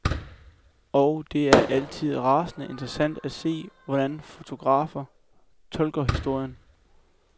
Og det er altid rasende interessant at se, hvordan fotografer tolker historien.